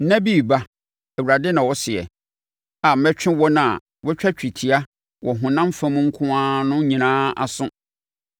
“Nna bi reba,” Awurade na ɔseɛ, “A mɛtwe wɔn a wɔatwa twetia wɔ honam fam nko ara no nyinaa aso: